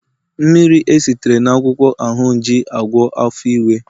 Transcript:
mmiri esitere na akwukwo ahunji -agwọ afo iwe